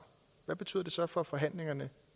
hvad betyder det så for de forhandlinger